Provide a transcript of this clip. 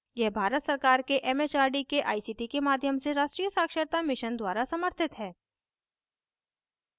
यह भारत सरकार के it it आर डी के आई सी टी के माध्यम से राष्ट्रीय साक्षरता mission द्वारा समर्थित है